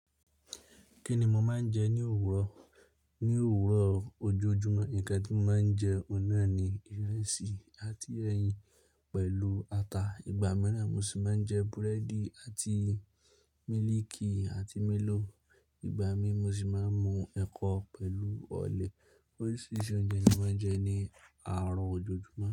Kí ni mo máa ń jẹ ní òwúrọ̀? Ni òwúrọ̀ ojoojúmọ́, ǹkan tí mo máa ń jẹ oní nà ni ìrẹsì àti ẹyin pẹ̀lú ata. Ìgbà mìíràn mo sì máa ń jẹ búrẹ́dì àti mílìkì àti mélòò. Ìgbà mí mo sì máa ń mu ẹ̀kọ pẹ̀lú ọ̀lẹ. Oríṣiríṣi oúnjẹ ni mo máa ń jẹ ní àárọ̀ ojoojúmọ́